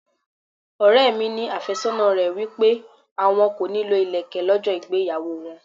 Ọ̀rẹ́ mi ní afésónà rẹ̀ wí pé àwọn kò ní lọ ilẹ̀kè lọ́jọ́ ìgbéyàwó wọn.